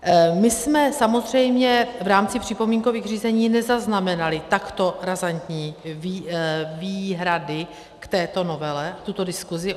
My jsme samozřejmě v rámci připomínkových řízení nezaznamenali takto razantní výhrady k této novele, tuto diskusi.